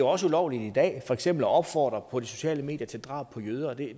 også ulovligt i dag for eksempel at opfordre på de sociale medier til drab på jøder og det